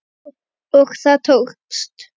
Og það tókst!